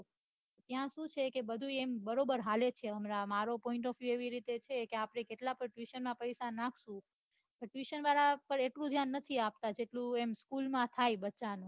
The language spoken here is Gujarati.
ત્યાં શું છે બઘુ એમ બરાબર હાલે છે હમણાં મારો point of view એવી રીતે છે આપડે કેટલાક તો પૈસા tuition માં નાખસો તો tuition પન એટલું ઘ્યાન નથી આપતા જેટલું એમ school માં થાય બચ્ચા ને